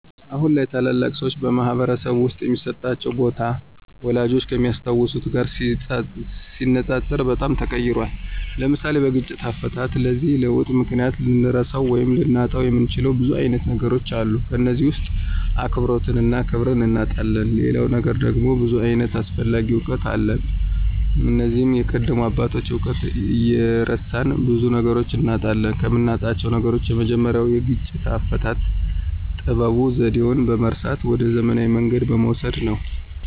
አሁን ላይ ታላላቅ ሰዎች በማኅበረሰብ ውስጥ የሚሰጣቸው ቦታ፣ ወላጆቻችን ከሚያስታውሱት ጋር ሲነጻጸር በጣም ተቀይሯል። (ለምሳሌ፦ በግጭት አፈታት) በዚህ ለውጥ ምክንያት ልንረሳው ወይም ልናጣው የምንችለው ብዙ አይነት ነገሮች አሉ ከነዚህም ውስጥ አክብሮትንና ክብርን እናጣለን ሌላው ነገር ደግሞ ብዙ ዓይነት አስፈላጊ እውቀት አለ እነዚህም የቀደሙ አባቶችን እውቀት እየረሳን ብዙ ነገሮችን እናጣለን። ከምናጣው ነገሮች የመጀመሪያው የግጭት አፈታት ጥበቡንና ዘዴውን በመርሳት ወደ ዘመናዊ መንገድ በመውሰድ ነው።